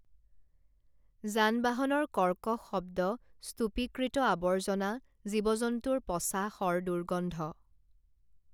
যান বাহনৰ কৰ্কশ শব্দ স্তূপীকৃত আৱৰ্জনা জীৱ জন্তুৰ পচা শৰ দুৰ্গন্ধ